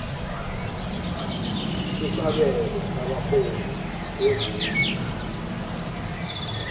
sesabelo sabarhali bezepi